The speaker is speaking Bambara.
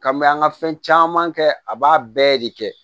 Ka mɛ an ka fɛn caman kɛ a b'a bɛɛ de kɛ